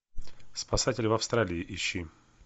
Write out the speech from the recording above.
спасатели в австралии ищи